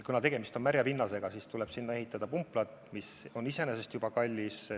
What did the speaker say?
Kuna tegemist on märja pinnasega, tuleb sinna ehitada pumplad, mis on iseenesest juba kallis.